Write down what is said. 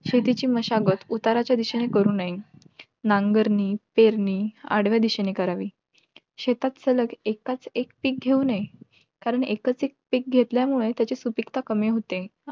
जय भीम वाले पण आपण एक बचत गट चालू करूत आता बचत गटाचे खूप काही प्रकार आहेत पण आमच्याकडे कसा आहे बचत गटाला कमीत कमी अकरा महिला पाहिजेत .